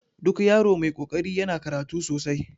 Duk yaro mai kokari yana karatu sosai